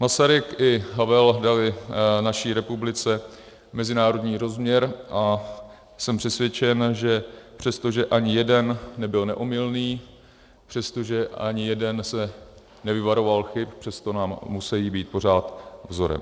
Masaryk i Havel dali naší republice mezinárodní rozměr a jsem přesvědčen, že přesto, že ani jeden nebyl neomylný, přesto, že ani jeden se nevyvaroval chyb, přesto nám musejí být pořád vzorem.